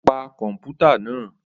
O pa kọmputa náà